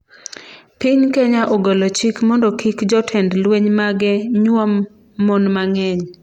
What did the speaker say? Piny Kenya ogolo chik mondo kik jotend lweny mage nyuom mon mang'eny